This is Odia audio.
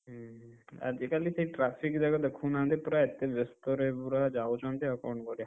ହୁଁ ହୁଁ ଆଜିକାଲି କେହି traffic ଜାଗା ଦେଖୁନାହାନ୍ତି ପୁରା ଏତେ ବେସ୍ତରେ ପୁରା ଯାଉଛନ୍ତି ଆଉ କ'ଣ କରିଆ।